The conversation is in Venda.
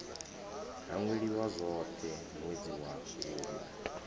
hangweliwa zwoṱhe ṅwedzi wa vhuṋa